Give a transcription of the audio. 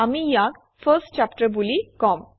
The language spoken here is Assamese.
আমি ইয়াক ফাৰ্ষ্ট চেপ্টাৰ বুলি কম